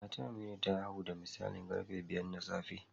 Matar Aminu ta haihu da misalin karfe biyar na safe